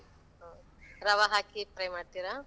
ಹ, ರವ ಹಾಕಿ fry ಮಾಡ್ತಿರ?